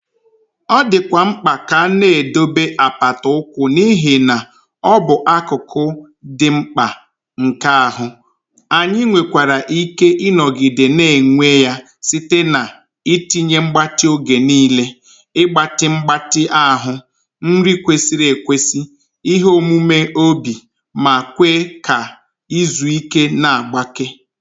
Ọ dịkwa mkpa ka a na-edobe apata ụkwụ n'ihi na ọ bụ akụkụ dị mkpa nke ahụ, anyị nwekwara ike ịnọgide na-enwe ya site na: itinye mgbatị oge niile, ịgbatị mgbatị ahụ, nri kwesịrị ekwesị, ihe omume obi, ma kwe ka izu ike na mgbake.